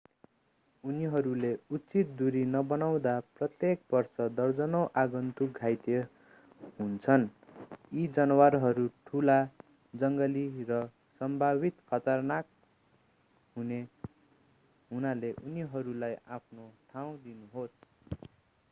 उनीहरूले उचित दूरी नबनाउँदा प्रत्येक वर्ष दर्जनौं आगन्तुक घाइते हुन्छन् यी जनावरहरू ठूला जङ्गली र सम्भावित खतरनाक हुनाले उनीहरूलाई आफ्नो ठाउँ दिनुहोस्